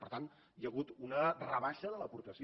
per tant hi ha hagut una rebaixa de l’aportació